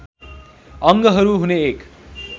अङ्गहरू हुने एक